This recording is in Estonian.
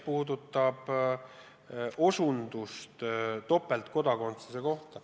Nüüd küsimus topeltkodakondsuse kohta.